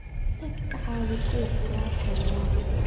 Tag ka caawi kuwa kurasta wadan